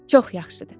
Çox yaxşıdır.